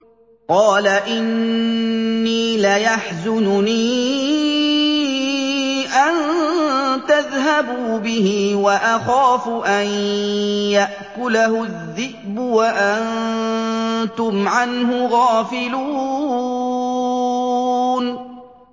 قَالَ إِنِّي لَيَحْزُنُنِي أَن تَذْهَبُوا بِهِ وَأَخَافُ أَن يَأْكُلَهُ الذِّئْبُ وَأَنتُمْ عَنْهُ غَافِلُونَ